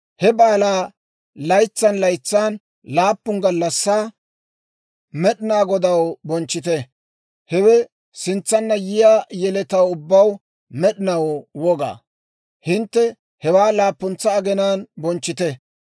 He baalaa laytsan laytsan laappun gallassaa Med'inaa Godaw bonchchite. Hewe sintsanna yiyaa yeletaw ubbaw med'inaw woga. Hintte hewaa laappuntsa aginaan bonchchite.